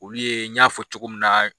Olu ye n y'a fɔ cogo min na